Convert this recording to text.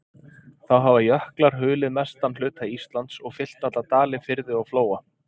Þá hafa jöklar hulið mestan hluta Íslands, og fyllt alla dali, firði og flóa.